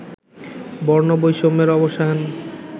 বর্ণবৈষম্যের অবসান